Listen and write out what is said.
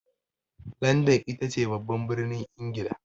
Landan ita ce babban birnin Ingila.